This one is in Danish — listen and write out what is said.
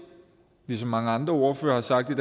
ligesom mange andre ordførere har sagt det